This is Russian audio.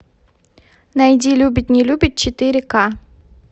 найди любит не любит четыре ка